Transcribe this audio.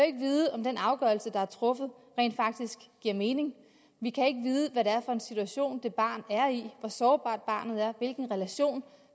ikke vide om den afgørelse der er truffet rent faktisk giver mening vi kan ikke vide hvad det er for en situation det barn er i hvor sårbart barnet er og hvilken relation